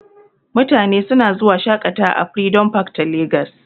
Mutane suna zuwa shaƙatawa a freedom park ta Lagos.